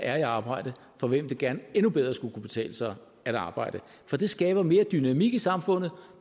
er i arbejde for hvem det gerne endnu bedre skulle kunne betale sig at arbejde for det skaber mere dynamik i samfundet